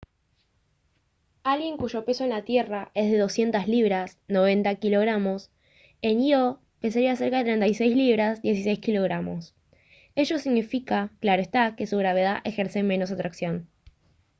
alguien cuyo peso en la tierra es de 200 libras 90 kg en ío pesaría cerca de 36 libras 16 kg. ello significa claro está que su gravedad ejerce menos atracción